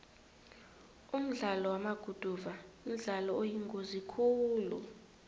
umdlalo wamaguduva mdlalo oyingozi khulu